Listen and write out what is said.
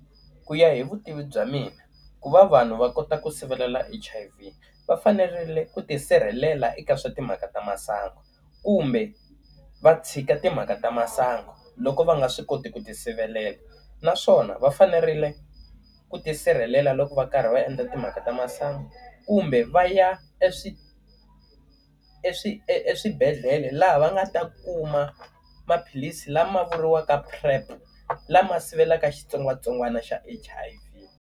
Ku ya hi vutivi bya mina, ku va vanhu va kota ku sivela H_I_V va fanerile ku ti sirhelela eka swa timhaka ta masangu, kumbe va tshika timhaka ta masangu loko va nga swi koti ku ti sirhelela. Naswona va fanerile ku ti sirhelela loko va karhi va endla timhaka ta masangu, kumbe va ya eswi eswi eswibedhlele laha va nga ta kuma maphilisi lama vuriwaka P_r_E_P, lama sivelaka xitsongwatsongwana xa H_I_V.